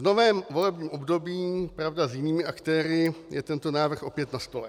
V novém volebním období, pravda, s jinými aktéry je tento návrh opět na stole.